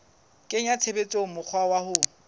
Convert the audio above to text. kenya tshebetsong mokgwa wa ho